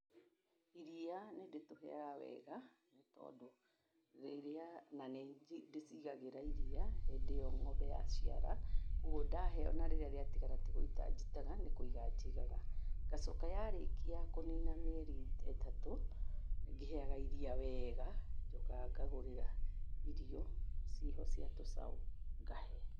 Iriya niĩndĩtũhega wega hĩndĩ ĩo twaciarwo nĩtondũ rĩrĩa na nĩndĩcigagĩra iriya hĩndĩ ĩo ng'ombe yaciara. ũguo ndahe, onarĩrĩa rĩatigara tigũita njitaga nĩkũiga njigaga. Ngacoka yarĩkia kũnina mĩeri ta ĩtatũ ngĩhega iria wega. Njokaga ngagũrĩra irio ciho ciatũcau ngahe.